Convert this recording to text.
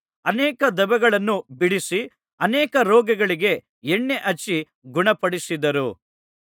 ಅನೇಕ ದೆವ್ವಗಳನ್ನು ಬಿಡಿಸಿ ಅನೇಕ ರೋಗಿಗಳಿಗೆ ಎಣ್ಣೆ ಹಚ್ಚಿ ಗುಣಪಡಿಸಿದರು